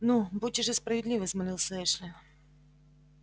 ну будьте же справедливы взмолился эшли